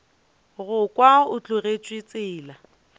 go kwa o tlogetše tsela